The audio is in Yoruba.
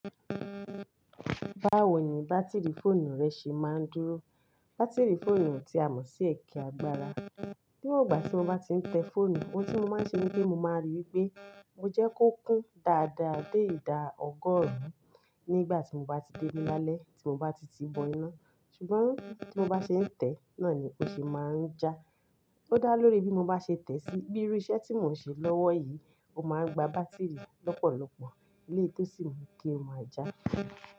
Báwo ni bátìrì fóònù rẹ ṣe máa ń dúró? Bátìrì fóònù ti a mọ̀ sí ẹkẹ agbára. Níwon igbà tí mo bá ti ń tẹ fóònù, ohun tí mo máa ń ṣe ni wipe rii pe mo jẹ́ kó kún dáadáa dé ìdá ọgọ́rùn-ún nígbà tí mo bá ti déle lálẹ́ tí mo bá ti tii bọ iná. Ṣùgbọ́n tí mo bá ṣe ń tẹ̀ẹ́ náà ni ó ṣe máa ń já. Ó dá lórí bí mo bá ṣe tẹ̀ẹ́ sí. Bí iru iṣẹ́ tí mò ń ṣe lọ́wọ́ yìí, ó máa ń gba bátìrì lọ́pọ̀lọpọ̀ eléyii tó sì mú kí ó máa já.